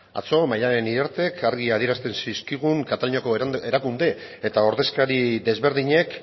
atzo maddalen iriartek argi adierazten zizkigun kataluniako erakunde eta ordezkari desberdinek